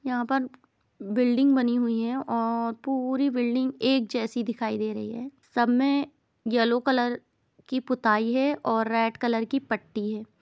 यहाँ पर बिल्डिंग बनी हुई है और पूरी बिल्डिंग एक जैसी दिखाई दे रही है सब में येलो कलर की पोताई है और रेड कलर की पट्टी है।